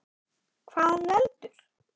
Hvað veldur?